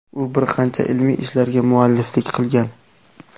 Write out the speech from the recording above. U bir qancha ilmiy ishlarga mualliflik qilgan.